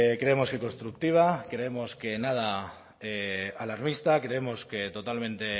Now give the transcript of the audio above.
creemos que constructiva creemos que nada alarmista creemos que totalmente